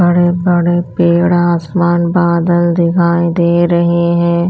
बड़े बड़े पेड़ आसमान बादल दिखाई दे रहे हैं।